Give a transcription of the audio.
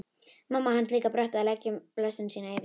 Mamma hans líka brött að leggja blessun sína yfir þetta.